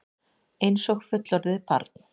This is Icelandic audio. Einsog fullorðið barn.